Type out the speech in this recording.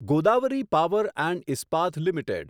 Godavari power and Ispat limited